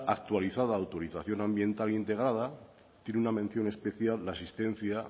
actualizada autorización ambiental integrada tiene una mención especial la existencia